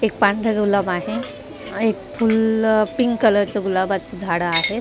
एक पांढरं गुलाब आहे एक फुल अ पिंक कलरचं गुलाबाचं झाड आहे.